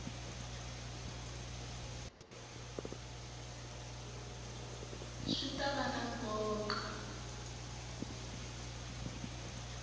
swi ta va na nkoka